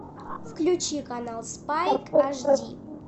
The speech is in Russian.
включи канал спайн ашди